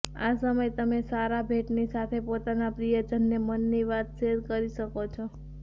આ સમય તમે સારા ભેટની સાથે પોતાના પ્રિયજનને મનની વાત શેર કરી શકો છો